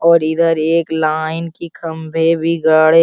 और इधर एक लाइन की खंभे भी गड़े --